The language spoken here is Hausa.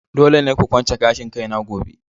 Dole ne ku kwance gashin kaina gobe!